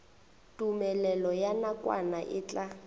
tumelelo ya nakwana e tla